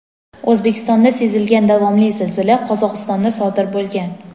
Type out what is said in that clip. O‘zbekistonda sezilgan davomli zilzila Qozog‘istonda sodir bo‘lgan.